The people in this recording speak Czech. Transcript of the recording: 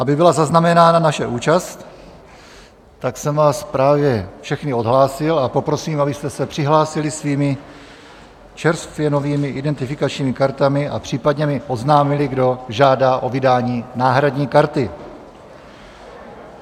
Aby byla zaznamenána naše účast, tak jsem vás právě všechny odhlásil a poprosím, abyste se přihlásili svými čerstvě novými identifikačními kartami a případně mi oznámili, kdo žádá o vydání náhradní karty.